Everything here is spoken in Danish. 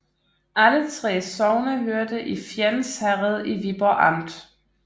Alle 3 sogne hørte til Fjends Herred i Viborg Amt